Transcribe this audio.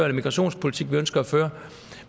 og migrationspolitik vi ønsker at føre